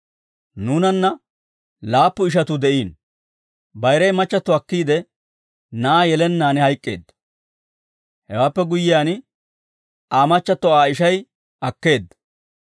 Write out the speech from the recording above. Nuunanna laappu ishatuu de'iino; bayiray machchatto akkiide, na'aa yelennaan hayk'k'eedda; hewaappe guyyiyaan Aa machchatto Aa ishay akkeedda.